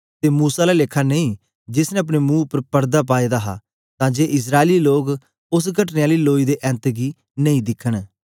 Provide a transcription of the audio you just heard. ते मूसा आला लेखा नेई जेस ने अपने मुंह उपर पड़दा पाए दा हा तां जे इस्राएली लोक ओस घटने आली लोई दे ऐन्त गी नेई दिखन